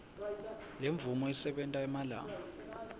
lemvume isebenta emalanga